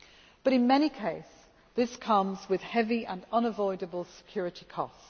Myanmar. But in many cases this comes with heavy and unavoidable security